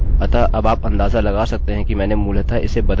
मैं इसको अपनी सहूलियत के हिसाब से बदल सकता हूँ